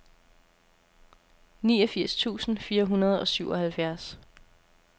niogfirs tusind fire hundrede og syvoghalvfjerds